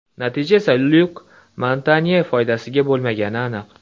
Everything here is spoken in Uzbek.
Natija esa Lyuk Montanye foydasiga bo‘lmagani aniq.